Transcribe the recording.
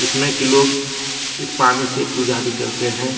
लोग इस पानी से पूजा भी करते हैं।